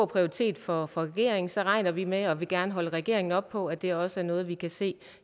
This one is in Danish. prioritet for regeringen så regner vi med og vil gerne holde regeringen op på at det også er noget vi kan se